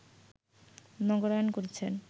নগরায়ন করছেন